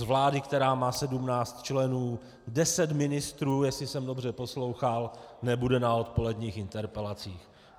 Z vlády, která má 17 členů, 10 ministrů, jestli se dobře poslouchal, nebude na odpoledních interpelacích!